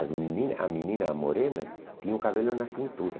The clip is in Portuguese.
As meninas a menina, a morena, tinha o cabelo na cintura.